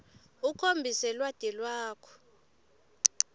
ukhombise lwati lwakho